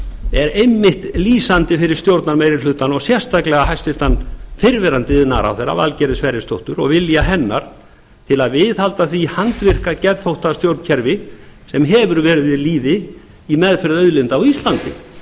er einmitt lýsandi fyrir stjórnarmeirihlutann og sérstaklega hæstvirtur fyrrverandi iðnaðarráðherra valgerðar sverrisdóttur og vilja hennar til að viðhalda því handvirka geðþóttastjórnkerfi sem verið hefur við lýði í meðferð auðlinda á íslandi